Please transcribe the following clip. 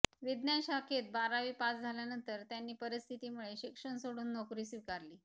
विज्ञान शाखेत बारावी पास झाल्यानंतर त्यांनी परीस्थितीमुळे शिक्षण सोडून नोकरी स्वीकारली